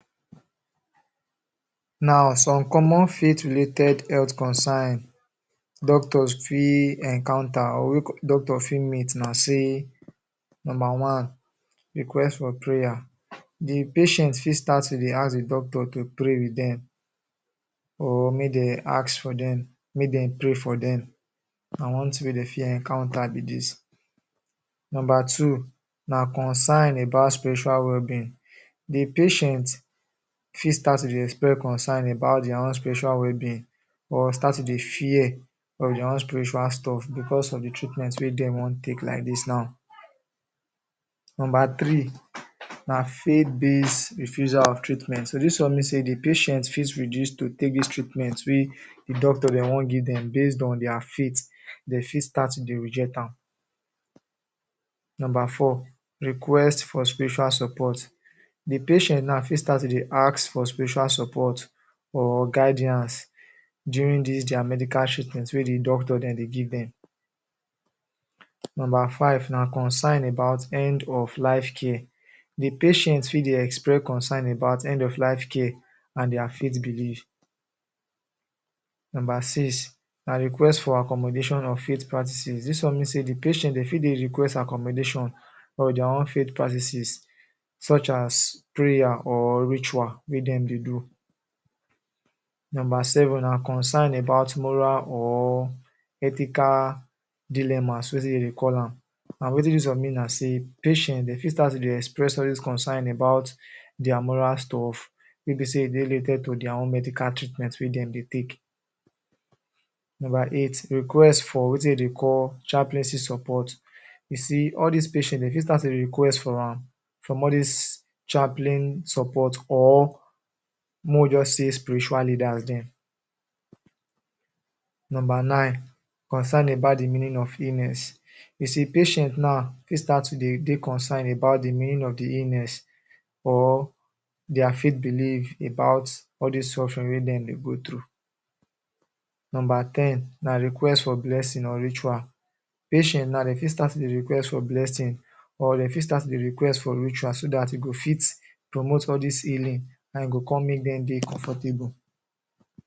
Now, some common faith-related health concern doctors fit encounter or wey doctors fit meet na sey: Nomba one, request for prayer. The patient fit start to dey ask the doctor to pray with dem or make de ask for dem make de pray for dem. Na one tin wey de fit encounter be dis. Nomba two na concern about spiritual wellbeing. The patient fit start to dey express concern about dia own spiritual well-being, or start to dey fear of dia own spiritual stuff becos of the treatment wey dem wan take like dis now. Nomba three na faith-based refusal of treatment. So, dis one mean sey the patient fit refuse to take dis treatment wey the doctor de wan give dem. Based on dia faith, de fit start to dey reject am. Nomba four, request for spiritual support. The patient now fit start to dey ask for spiritual support or guidance during dis dia medical treatment wey the doctor de dey give dem. Nomba five na concern about end of life care. The patient fit dey express concern about end of life care and dia faith belief. Nomba six na request for accommodation of faith practices. Dis one mean sey the patient, de fit de request accommodation of dia own faith practices such as prayer or ritual wey dem dey do. Nomba seven na concern about moral or ethical dilemmas wetin de dey call am. An wetin dis one mean na sey patient de fit start to dey express all dis concern about dia moral stuff wey be sey dey related to dia own medical treatment wey dem dey take. Nomba eight, request for wetin de dey call chaplaincy support. You see, all dis patients, de fit start to dey request for am from all dis chaplain support, or make we juz say spiritual leaders dem. Nomba nine, concern about the meaning of illness. You see, patient now, fit start to de dey concern about the meaning of the illness or dia faith belief about all dis suffering wey dem dey go through. Nomba ten na request for blessing or ritual. Patient now, de fit start tondey request for blessing, or de fit start to dey request for ritual so dat e go fit promote all dis healing an e go con make dem dey comfortable.